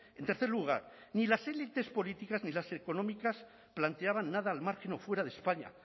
en tercer lugar ni las elites políticas ni las económicas planteaban nada al margen o fuera de españa